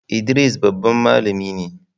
Idris babban malami ne.